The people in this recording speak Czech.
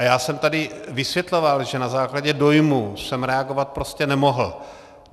A já jsem tady vysvětloval, že na základě dojmu jsem reagovat prostě nemohl.